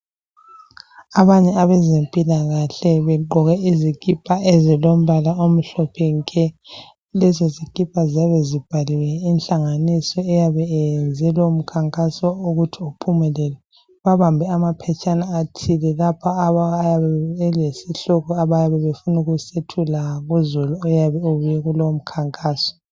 Abanye abezempilakahle begqoke izikipa ezilombala omhlophe nke, lezo zikipa ziyabe zibhaliwe inhlanganiso eyabe iyenze lowo mkhankaso ukuthi uphumelele. Babambe amaphetshana athile ayabe elesihloko abayabe befuna kusethula kuzulu oyabe ebuye kulowo mukhankaso.